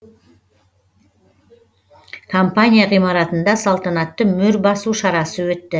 компания ғимаратында салтанатты мөр басу шарасы өтті